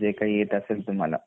जे काही येत असेल तुम्हाला